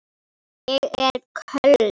Ég er köld.